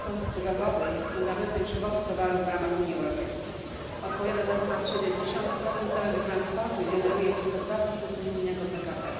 Transport drogowy jest fundamentem przewozu towarów w ramach Unii Europejskiej odpowiada za ponad 70 całego transportu i generuje blisko 2 unijnego PKB.